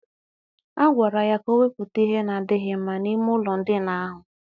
A gwara ya ka o wepụta ihe na-adịghị mma n'ime ụlọ ndina ahụ.